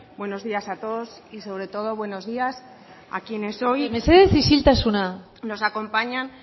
buenos días a todos mesedez isiltasuna y sobre todo buenos días a quienes hoy nos acompañan